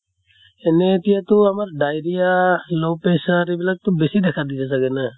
এনে এতিয়া তো আমাৰ diarrhea, low pressure এইবিলাক বেছি দেখা দিয়ে চাগে না?